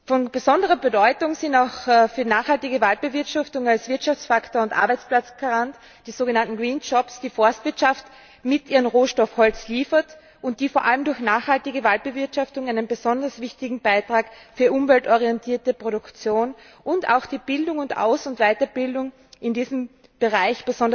Von besonderer Bedeutung für die nachhaltige Waldbewirtschaftung als Wirtschaftsfaktor und Arbeitsplatzgarant sind auch die sogenannten grünen Arbeitsplätze, die die Forstwirtschaft mit ihrem Rohstoff Holz liefert und die vor allem durch nachhaltige Waldbewirtschaftung einen besonders wichtigen Beitrag für umweltorientierte Produktion und auch die Bildung und Aus und Weiterbildung in diesem Bereich